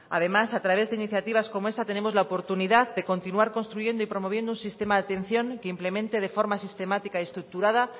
además a través de iniciativas como esa tenemos la oportunidad de continuar construyendo y promoviendo un sistema de atención que implemente de forma sistemática y estructurada